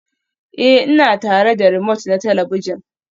Ee, ina tare da romote na talabijin